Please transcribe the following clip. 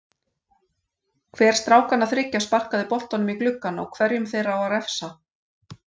Hver strákanna þriggja sparkaði boltanum í gluggann og hverjum þeirra á að refsa?